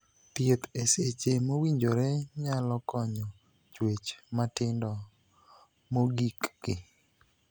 Thieth e seche mowinjore nyalo konyo chuech matindo mogikgi.